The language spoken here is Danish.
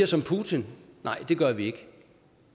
som putin nej det gør vi ikke